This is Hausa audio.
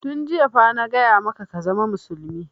Tun jiya fa na gaya maka ka zama musulmi!